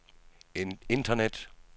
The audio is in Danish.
internet